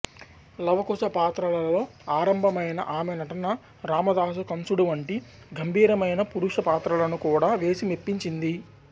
లవకుశ పాత్రలతో ఆరంభమైన ఆమె నటన రామదాసు కంసుడు వంటి గంభీరమైన పురుష పాత్రలను కూడా వేసి మెప్పించింది